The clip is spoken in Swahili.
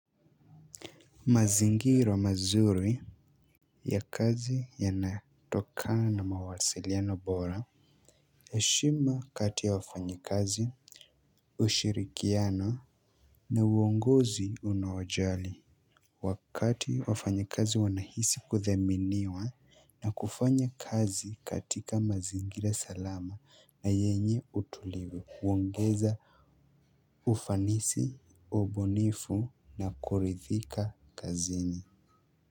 Mazingira mazuri ya kazi yanatokana na mawasiliano bora, heshima kati ya wafanyikazi, ushirikiano na uongozi unaowajali. Wakati wafanyikazi wanahisi kuthaminiwa na kufanya kazi katika mazingira salama na yenye utulivu, huongeza ufanisi ubunifu na kuridhika kazini.